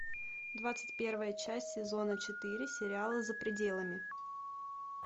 двадцать первая часть сезона четыре сериала за пределами